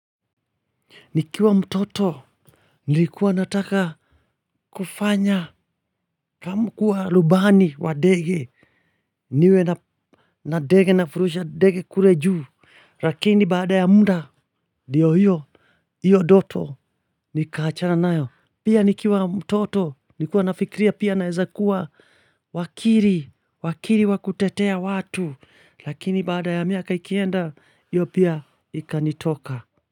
Nikiwa mtoto, nilikuwa nataka kufanya kuwa rubani wa ndege, niwe na ndege nafurusha ndege kule juu, lakini baada ya muda, ndiyo hiyo ndoto, nikaachana nayo. Pia nikiwa mtoto, nilikuwa nafikiria pia naeza kuwa wakili, wakili wa kutetea watu, lakini baada ya miaka ikienda, hiyo pia ikanitoka.